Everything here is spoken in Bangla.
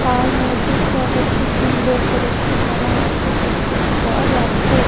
আর মসজিদ টাকে খুব সুন্দর করে সাজানো আছে দেখতে পাওয়া যাচ্ছে।